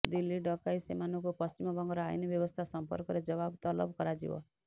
ଦିଲ୍ଲୀ ଡକାଇ ସେମାନଙ୍କୁ ପଶ୍ଚିମବଙ୍ଗର ଆଇନ ବ୍ୟବସ୍ଥା ସମ୍ପର୍କରେ ଜବାବ ତଲବ କରାଯିବ